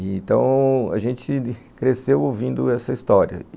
Então, a gente cresceu ouvindo essa história.